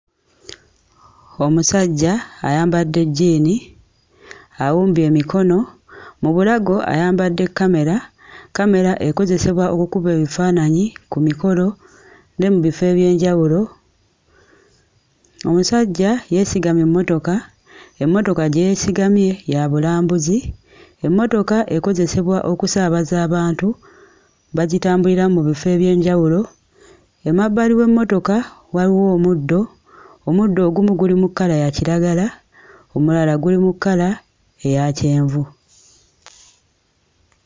Omusajja ayambadde jjiini awumbye emikono. Mu bulago ayambadde kkamera. Kkamera ekozesebwa okukuba ebifaananyi ku mikolo ne mu bifo eby'enjawulo. Omusajja yeesigamye emmotoka, emmotoka gye yeesigamye ya bulambuzi. Emmotoka ekozesebwa okusaabaza abantu bagitambuliramu mu bifo eby'enjawulo emabbali w'emmotoka waliwo omuddo, omuddo ogumu guli mu kkala ya kiragala omulala guli mu kkala eya kyenvu.